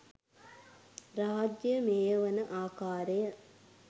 රාජ්‍ය මෙහෙයවන ආකාරය